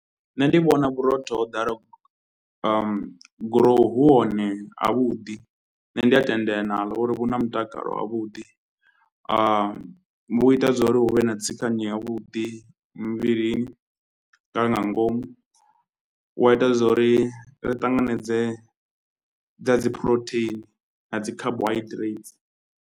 Nṋe ndi vhona vhurotho ho ḓalaho gurowu hu hone havhuḓi, nṋe ndi a tendelana naḽo uri vhu na mutakalo wavhuḓi. Vhu ita zwo ri hu vhe na tsikanyo yavhuḓi muvhilini nga nga ngomu, hu a ita zwa uri ri ṱanganedze dza dzi phurotheini na dzi carbohydrates.